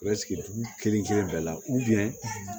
dugu kelen kelen bɛɛ la